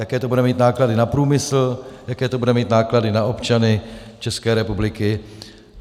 Jaké to bude mít náklady na průmysl, jaké to bude mít náklady na občany České republiky.